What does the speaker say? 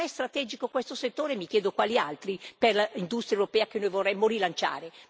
E se non è strategico questo settore, mi chiedo quali altri, per l'industria europea che noi vorremmo rilanciare.